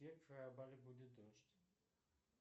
будет дождь